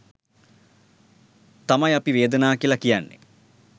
තමයි අපි වේදනා කියලා කියන්නේ.